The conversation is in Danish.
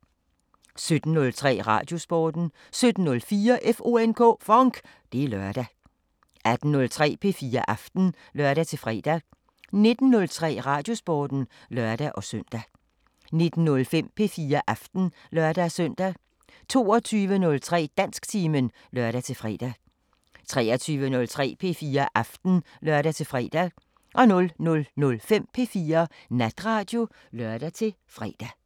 17:03: Radiosporten 17:04: FONK! Det er lørdag 18:03: P4 Aften (lør-fre) 19:03: Radiosporten (lør-søn) 19:05: P4 Aften (lør-søn) 22:03: Dansktimen (lør-fre) 23:03: P4 Aften (lør-fre) 00:05: P4 Natradio (lør-fre)